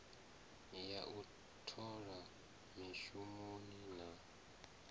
ya u thola mishumoni na